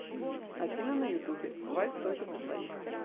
афина на ютубе вальс только для двоих